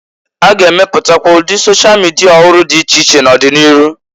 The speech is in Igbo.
A ga-emepụtakwa ụdị sosha mịdịa ọhụrụ dị iche iche n'ọdị n'iru.